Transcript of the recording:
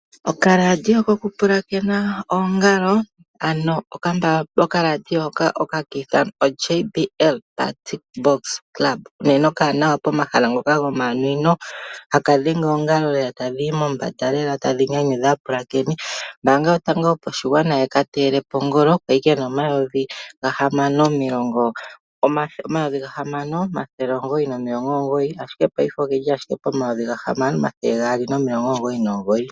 Okambako kokupulakena oongalo, haka ithanwa JBL PartyBox Club, unene okawanawa pomahala ngoka gomanwino haka dhenge oongalo tadhi yi mombanda lela tadhi nyanyudha aapulakeni, okateyelwa kongolo ka li ke na N$ 6 999, ashike paife oke li owala poN$ 6 299.